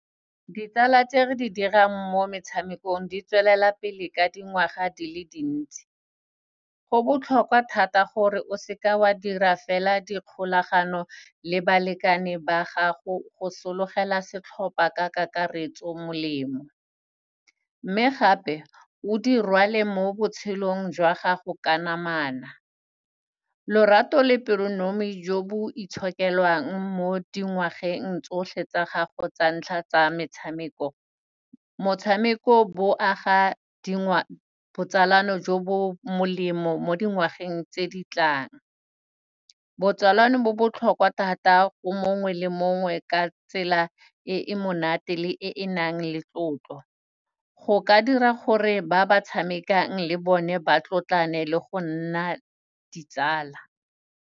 Ditsala tse re di dirang mo metshamekong di tswelela pele ka dingwaga di le dintsi. Go botlhokwa thata gore o seke wa dira fela dikgolagano le balekane ba gago go sologela setlhopa ka kakaretso molemo, mme gape o di rwale mo botshelong jwa gago ka namana. Lorato le pelonomi jo bo itshokelwang mo dingwageng tsotlhe tsa gago tsa ntlha tsa metshameko. Motshameko, bo aga botsalano jo bo molemo mo dingwageng tse di tlang. Botsalano bo botlhokwa thata go mongwe le mongwe ka tsela e e monate le e e nang le tlotlo. Go ka dira gore ba ba tshamekang le bone ba tlotlane le go nna ditsala.